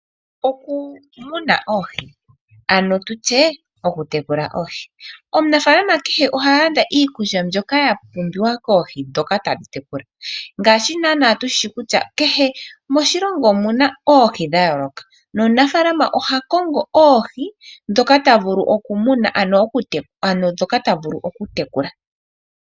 Omunafaalama kehe oha landa iikulya mbyoka ya pumbiwa koohi ndhoka ta tekula, ngaashi naana tushishi kutya kehe moshilongo omuna oohi dha yooloka, omunafaalama oha kongo oohi ndhoka ta vulu okutekula nenge okumuna.